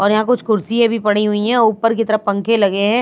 और यहां कुछ कुर्सिए भी पड़ी हुई है ऊपर की तरफ पंखे लगे हैं।